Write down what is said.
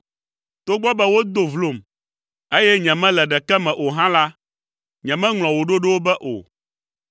Togbɔ be wodo vlom, eye nyemele ɖeke me o hã la, nyemeŋlɔ wò ɖoɖowo be o.